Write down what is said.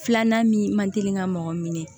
Filanan min man teli ka mɔgɔ minɛ